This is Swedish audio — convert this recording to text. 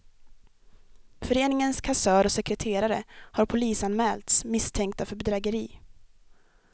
Föreningens kassör och sekreterare har polisanmälts misstänkta för bedrägeri.